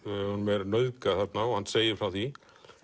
er nauðgað þarna og hann segir frá því